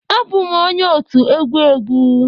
Abụ m onye otu egwu egwu.